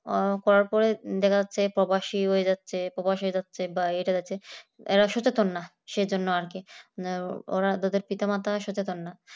ওই করার পরে দেখা যাচ্ছে যে প্রবাসী হয়ে যাচ্ছে প্রবাস হয়ে যাচ্ছে বা বাইরে যাচ্ছে, এরা সচেতন না সেজন্য আর কি ওদের পিতা-মাতা সচেতন না